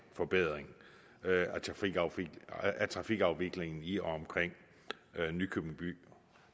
forbedring af trafikafviklingen i og omkring nykøbing by